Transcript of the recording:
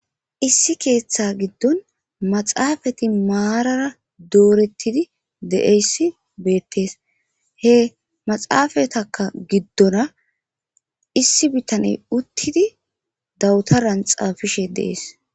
Isi keththa gidon maxafeti doretidi dizayssa bettes he maxafeta gidora issi bitaney dabteran xafishshe dess